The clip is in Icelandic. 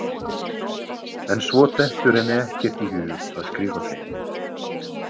En svo dettur henni ekkert í hug að skrifa þeim.